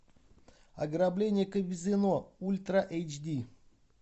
ограбление казино ультра эйч ди